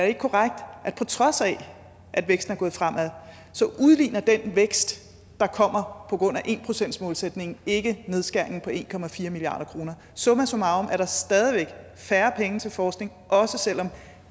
ikke korrekt at på trods af at væksten er gået fremad udligner den vækst der kommer på grund af en procentsmålsætningen ikke nedskæringen på en milliard kroner summa summarum er der stadig væk færre penge til forskning også selv om